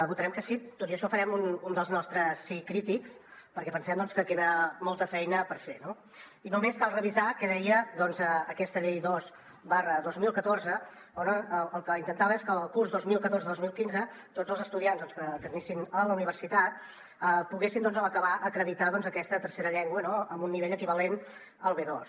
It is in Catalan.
votarem que sí tot i això farem un dels nostres sí crítics perquè pensem que queda molta feina per fer no i només cal revisar què deia aquesta llei dos dos mil catorze que el que intentava és que el curs dos mil catorze dos mil quinze tots els estudiants que anessin a la universitat poguessin a l’acabar acreditar aquesta tercera llengua amb un nivell equivalent al b2